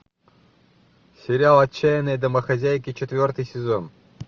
сериал отчаянные домохозяйки четвертый сезон